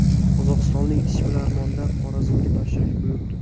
Qozog‘istonlik ishbilarmonlar Xorazmga tashrif buyurdi.